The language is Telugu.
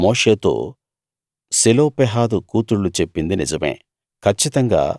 యెహోవా మోషేతో సెలోపెహాదు కూతుళ్ళు చెప్పింది నిజమే